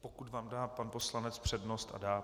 Pokud vám dá pan poslanec přednost - a dá.